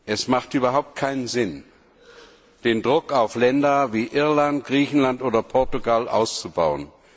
Es hat überhaupt keinen Sinn, den Druck auf Länder wie Irland, Griechenland oder Portugal auszubauen.